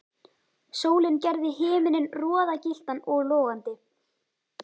Sólin gerði himininn roðagylltan og logandi.